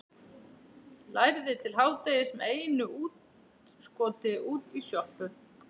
Lærði til hádegis með einu útskoti út í sjoppu.